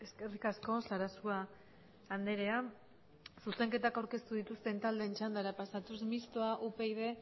eskerrik asko sarasua andrea zuzenketak aurkeztu dituzten taldeen txandara pasatuz mistoa upyd